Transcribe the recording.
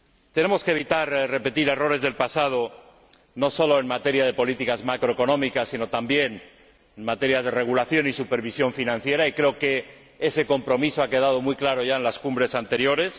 Tenemos que evitar repetir errores del pasado, no sólo en materia de políticas macroeconómicas, sino también en materia de regulación y supervisión financiera, y creo que ese compromiso ha quedado muy claro ya en las cumbres anteriores.